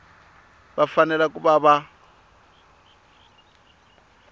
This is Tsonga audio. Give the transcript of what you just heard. va fanele ku va va